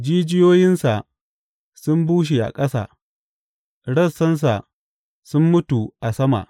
Jijiyoyinsa sun bushe a ƙasa rassansa sun mutu a sama.